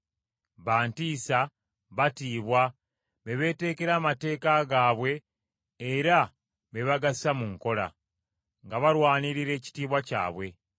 Ba ntiisa, batiibwa, be beetekera amateeka gaabwe era be bagassa mu nkola, nga balwanirira ekitiibwa kyabwe.